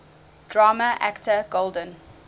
drama actor golden